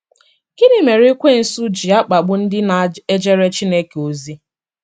Gịnị mereEkwensu ji akpagbu ndị na ejere Chineke ozi?